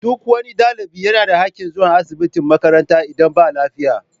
Duk wani ɗalibi yana da haƙƙin zuwa asibitin makaranta idan ba lafiya